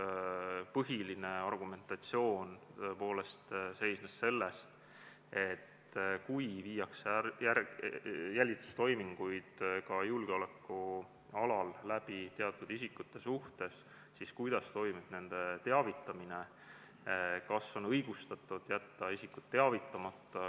Põhiline argumentatsioon seisnes selles, kuidas teavitada isikuid, kelle suhtes tehakse jälitustoiminguid julgeoleku alal, ja kas on õigustatud jätta isikut teavitamata.